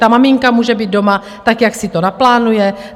Ta maminka může být doma tak, jak si to naplánuje.